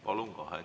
Palun!